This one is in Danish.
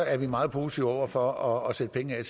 er vi meget positive over for at sætte penge af